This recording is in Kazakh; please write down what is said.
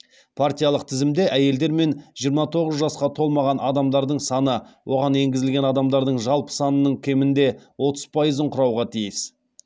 партиялық тізімде әйелдер мен жиырма тоғыз жасқа толмаған адамдардың саны оған енгізілген адамдардың жалпы санының кемінде отыз пайызын құрауға тиіс